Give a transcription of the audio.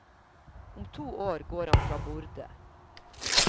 Om to år går han fra borde.